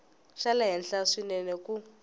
xa le henhla swinene ku